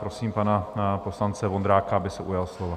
Prosím pana poslance Vondráka, aby se ujal slova.